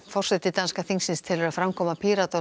forseti danska þingsins telur að framkoma Pírata og